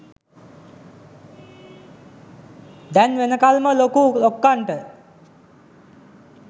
දැන් වෙනකල්ම ලොකු ලොක්කන්ට